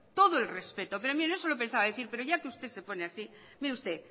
todo el respeto pero mire no se lo pensaba decir pero ya que usted se pone así mire usted